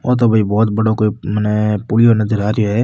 यो तो भई बहोत बड़ो कोई मने पुलियो नजरा आ रेहो है।